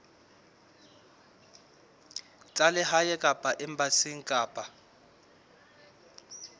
tsa lehae kapa embasing kapa